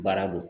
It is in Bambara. Baara don